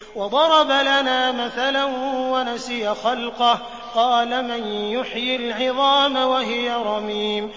وَضَرَبَ لَنَا مَثَلًا وَنَسِيَ خَلْقَهُ ۖ قَالَ مَن يُحْيِي الْعِظَامَ وَهِيَ رَمِيمٌ